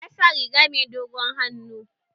Ya sa riga mai dogon hannu